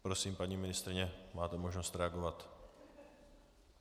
Prosím, paní ministryně, máte možnost reagovat.